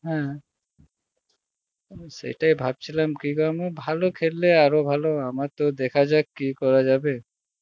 হ্যাঁ, সেটাই ভাবছিলাম ভালো খেললে আরো ভালো আমার তো দেখা যাক কি করা যাবে,